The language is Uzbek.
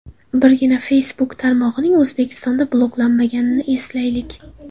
Birgina Facebook tarmog‘ining O‘zbekistonda bloklanganini eslaylik.